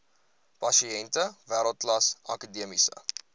pasiënte wêreldklas akademiese